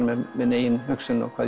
með minni eigin hugsun og hvað